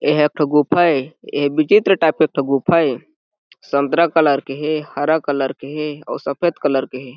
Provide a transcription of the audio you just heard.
ए ह एक ठो गुफा ए एहा विचित्र टाइप के एक ठो गुफ़ा हे संतरा कलर के हे हरा कलर के हे अउ सफेद कलर के हे।